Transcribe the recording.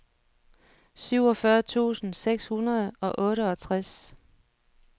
syvogfyrre tusind seks hundrede og otteogtres